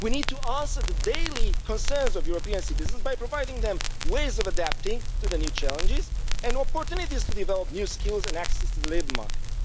We need to answer the daily concerns of European citizens by providing them ways of adapting to the new challenges and opportunities to develop new skills and access to the labour market.